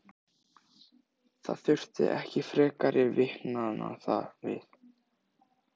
Það þurfti ekki frekari vitnanna við.